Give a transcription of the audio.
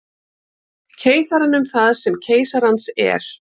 Keisaranum það sem keisarans er.